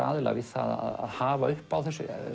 aðila við að hafa upp á